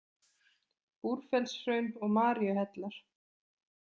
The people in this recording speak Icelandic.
Búrfellshraun og Maríuhellar.